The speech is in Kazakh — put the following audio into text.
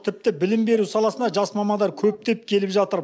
тіпті білім беру саласына жас мамандар көптеп келіп жатыр